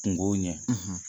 Kungow ɲɛ